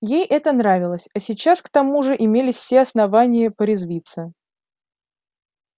ей это нравилось а сейчас к тому же имелись все основания порезвиться